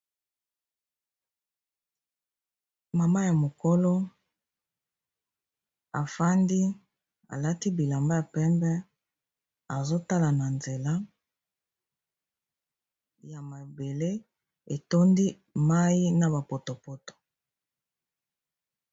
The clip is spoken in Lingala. Mama ya mokolo afandi alati bilamba ya pembe, azotala na nzela ya mabele etondi mai na ba potopoto.